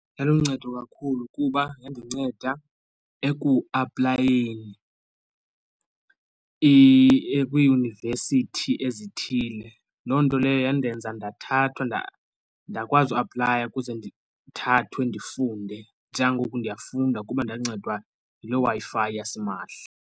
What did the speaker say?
Ingaluncedo kakhulu kuba yandinceda ekuaplayeni kwiiyunivesithi ezithile. Loo nto leyo yandenza ndathathwa ndakwazi uaplaya ukuze ndithathwe ndifunde. Njengangoku ndiyafunda kuba ndancedwa yiloo Wi-Fi yasimahla.